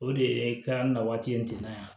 O de ye ka na waati in ten na yan